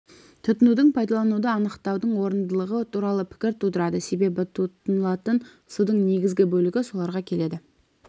тұтынуды пайдалануды анықтаудың орындылығы туралы пікір тудырады себебі тұтынылатын судың негізгі бөлігі соларға келеді